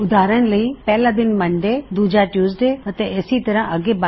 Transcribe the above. ਉਦਾਹਰਨ ਲਈ ਪਹਿਲਾ ਦਿਨ ਹੈ ਸੋਮਵਾਰ ਅਤੇ ਦੂਜਾ ਹੈ ਮੰਗਲਵਾਰ ਇਸੇ ਤਰ੍ਹਾ ਅੱਗੇ